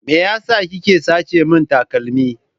Me yasa kike sace min takalmi?